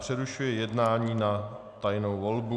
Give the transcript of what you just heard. Přerušuji jednání na tajnou volbu.